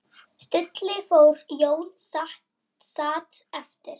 Stulli fór, Jón sat eftir.